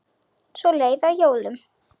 Svo leið að jólum.